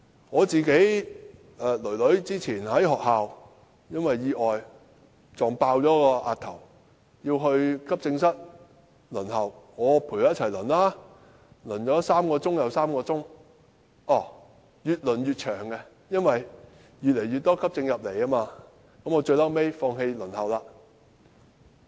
我女兒早前因為意外，在學校撞破額頭要到急症室輪候，我陪她一起等，等了3小時又3小時，越輪越長，因為越來越多急症送到醫院，最後我放棄輪候。